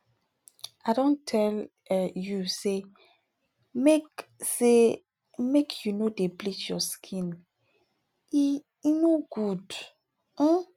i don tell um you sey make sey make you no dey bleach your skin e um no good um